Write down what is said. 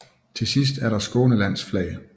Til sidst er der Skånelands flag